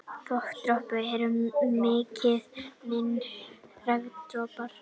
Þokudroparnir eru miklu minni en regndropar.